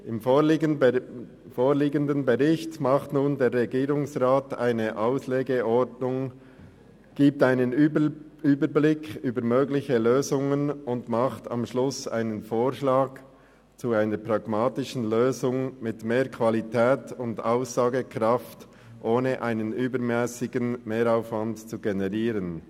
Im vorliegenden Bericht nimmt der Regierungsrat eine Auslegeordnung vor, gibt einen Überblick über mögliche Lösungen und macht am Schluss einen Vorschlag zu einer pragmatischen Lösung, die mehr Qualität und Aussagekraft gewährleistet, ohne einen übermässigen Mehraufwand zu generieren.